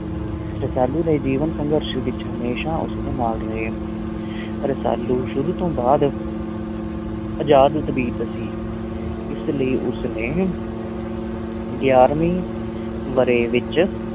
ਰਸਾਲੂ ਦੇ ਜੀਵਨ-ਸੰਘਰਸ਼ ਵਿੱਚ ਹਮੇਸ਼ਾਂ ਉਸ ਦੇ ਨਾਲ ਰਹੇ ਰਸਾਲੂ ਸ਼ੁਰੂ ਤੋਂ ਬਾਅਦ ਅਜ਼ਾਦ ਤਬੀਅਤ ਸੀ, ਇਸ ਲਈ ਉਸ ਨੇ ਗਿਆਰ੍ਹਵੇਂ ਵਰ੍ਹੇ ਵਿੱਚ